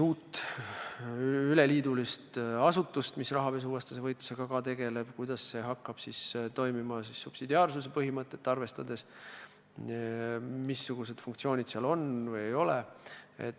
uus üleliiduline asutus, mis tegeleks ka rahapesuvastase võitlusega, kuidas see hakkaks toimima subsidiaarsuse põhimõtet arvestades ja missugused funktsioonid sel võiksid olla või mitte olla.